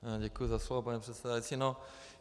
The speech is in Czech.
Děkuji za slovo, paní předsedající.